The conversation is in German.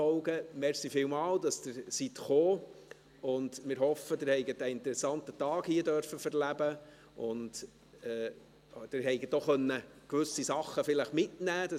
Vielen Dank, dass Sie gekommen sind, und wir hoffen, Sie haben hier einen interessanten Tag erleben und vielleicht auch gewisse Dinge mitnehmen können.